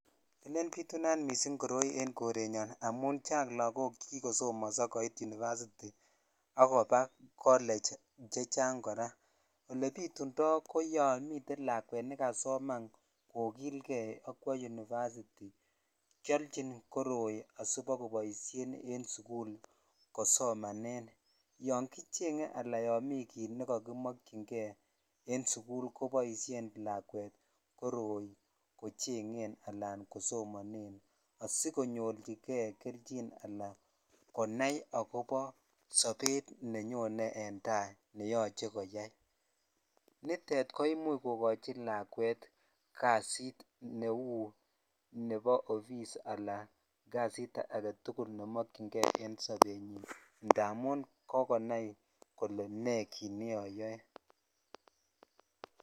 Elen bitunat missing koroi en korenyon amun chang lakok chekikosomonso koit University ala college chechang koraa olebitundoo yon miten lakwet nekasoman kokilkei ak kwoo University keochin koroi asibakoboishen en sukul kosomanen yon kicheng ala yon miten kit nekokimokyin kei en sukul koboshen lakwet koroi kochengen anan kosomonen asikonyorchi kei kelchin ana konai akobo sobet nenyone en tai ne yoche konai koyai nitet koimuch kokochi lakwet kasit nebo ,office alan kasit agetukul nemokyin kei en sobet indamun kikonai kolee nee.